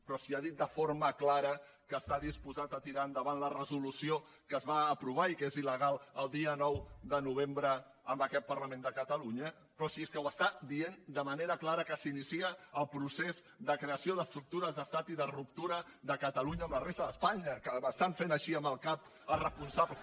però si ha dit de forma clara que està disposat a tirar endavant la resolució que es va aprovar i que és il·legal el dia nou de novembre en aquest parlament de catalunya però si és que ho està dient de manera clara que s’inicia el procés de creació d’estructures d’estat i de ruptura de catalunya amb la resta d’espanya que m’estan fent així amb el cap els responsables